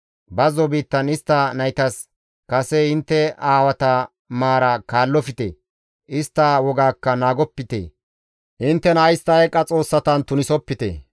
Bazzo biittan istta naytas, ‹Kase intte aawata maara kaallofte; istta wogaakka naagopite; inttena istta eeqa xoossatan tunisopite.